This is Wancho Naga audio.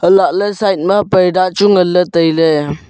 lah ley side ma parda chu nganley tailey.